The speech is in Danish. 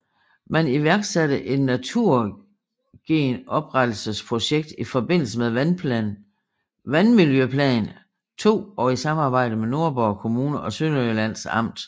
Man iværksatte et naturgenoprettelses projekt i forbindelse med Vandmiljøplan II og i samarbejde med Nordborg Kommune og Sønderjyllands Amt